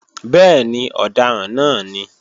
Bẹ́ẹ̀ni, ọ̀daràn náà ní